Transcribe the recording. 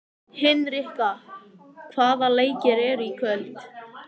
Hinrikka, hvaða leikir eru í kvöld?